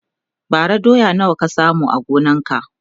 bara doya nawa ka samu a gonan ka?